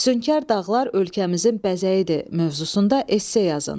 Füsunkar dağlar ölkəmizin bəzəyidir mövzusunda esse yazın.